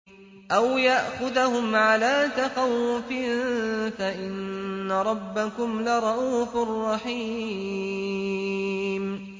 أَوْ يَأْخُذَهُمْ عَلَىٰ تَخَوُّفٍ فَإِنَّ رَبَّكُمْ لَرَءُوفٌ رَّحِيمٌ